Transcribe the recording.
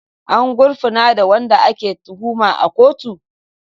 An gurfanar da wanda ake tuhuma a kotu?